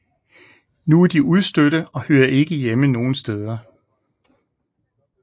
Nu er de udstødte og hører ikke hjemme nogle steder